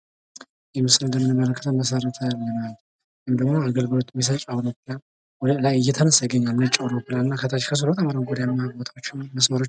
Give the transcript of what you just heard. ይህ ምስል እንደምንመለከተው መሰረታዊ ልማት ወይም ደግሞ አገልግሎት የሚሠጥ አውሮፕላን ይገኛል ነጭ አውሮፕላን ከስር ከታች በጣም አረንጓዴማ ቦታዎች እና መስመሮች